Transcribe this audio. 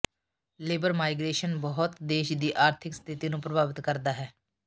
labour migration ਬਹੁਤ ਦੇਸ਼ ਦੀ ਆਰਥਿਕ ਸਥਿਤੀ ਨੂੰ ਪ੍ਰਭਾਵਿਤ ਕਰਦਾ ਹੈ